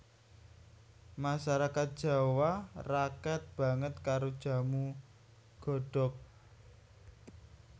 Masarakat Jawa raket banget karo jamu godhog